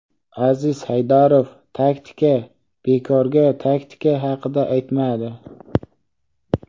Aziz Haydarov taktika bekorga taktika haqida aytmadi.